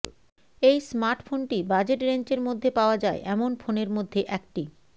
এই স্মার্টফোনটি বাজেট রেঞ্জের মধ্যে পাওয়া যায় এমন ফোনের মধ্যে একটি